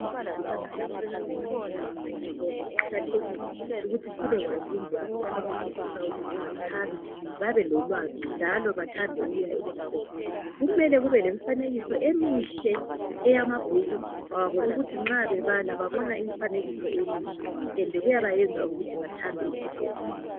Abantwana abancane abasanda ukuhamba esikolo, kuqakathekile ukuthi sibekwazi indlela zokubafundisa ukuthi bathabe, babelolwazi njalo bathande ukuya esikolo. Kumele kubelemfanekiso emihle eyamabhuku abo ukuthi nxa bebala babona imfanekiso emihle ende kuyabayenza bathande isikolo.